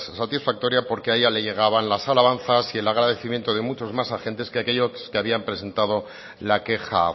satisfactoria porque a ella le llegaban las alabanzas y el agradecimientos de muchos más agentes que aquellos que habían presentado la queja